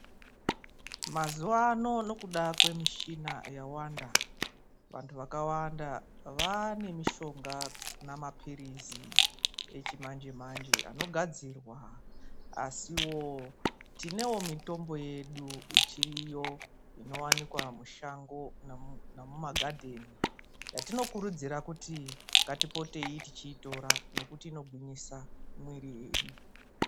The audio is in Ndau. Mazuva ano nekuda kwemishana yawanda vandu vakawanda vane mishonga nemapirizi echimanje manje anogadzirwa asiwo tinewo mitombo yedu ichiriyo inowanikwa mushango nemumagadeni yatinokurudzira kuti ngatipotei tichitora nekuti inogwinyisa mwiri yedu.